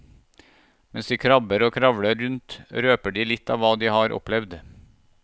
Mens de krabber og kravler rundt røper de litt av hva de har opplevd.